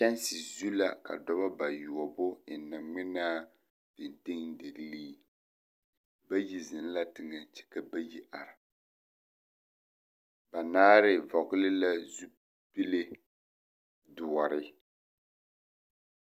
Kyanse zu la ka noba bayoɔbo ennɛ ŋmenaa feteldiɡli bayi zeŋ la teɡɛ kyɛ ka bayi are banaare vɔɡele la zupile doɔre.